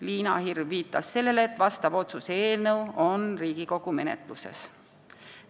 Liina Hirv viitas sellele, et sellekohane otsuse eelnõu on Riigikogu menetluses.